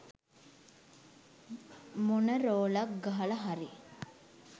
මොන රෝලක් ගහලා හරි